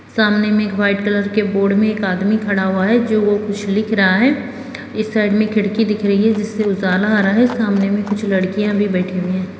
सामने में एक वाइट कलर के बोर्ड में एक आदमी खड़ा हुआ है जो वो कुछ लिख रहा है इस साइड में खिड़की दिख रही है जिससे उजाला आ रहा है सामने में कुछ लड़कियां भी बैठी हुई है।